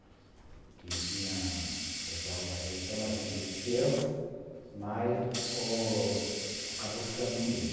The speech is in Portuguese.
O pessoal era, às vezes, até mais antigo que eu, mas acabou ficando comigo.